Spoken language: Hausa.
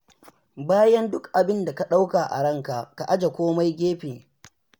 Bayan duk abinda ka ɗauka a ranka, ka aje komai gefe.